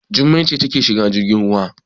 Jummai ce take shiga jirgin ruwa.